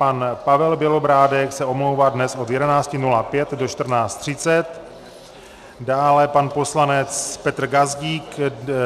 Pan Pavel Bělobrádek se omlouvá dnes od 11.05 do 14.30, dále pan poslanec Petr Gazdík